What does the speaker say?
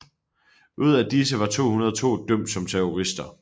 Ud af disse var 202 dømt som terrorister